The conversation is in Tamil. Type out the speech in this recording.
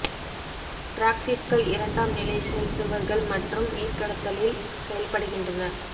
டிராக்சீட்கள் இரண்டாம் நிலை செல் சுவர்கள் மற்றும் நீர் கடத்தலில் செயல்படுகின்றன